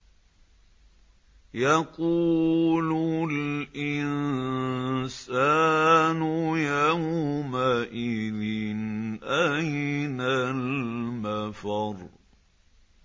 يَقُولُ الْإِنسَانُ يَوْمَئِذٍ أَيْنَ الْمَفَرُّ